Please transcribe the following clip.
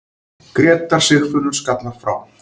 Grétar Sigfinnur skallar frá.